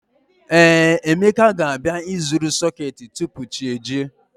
Ee, Emeka ga-abịa ịzụrụ sọketi tupu chi ejie